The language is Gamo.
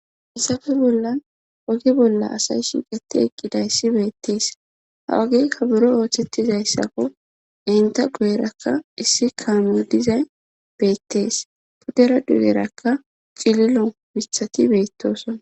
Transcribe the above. Hayissafe bollan oge bolla asay shiiqeti eqqidayssi beettees ha ogeykka buro ooththettizayssakko enta guyerakka issi kaami dizay beettees puddera dugerakka cililo mithati beettosona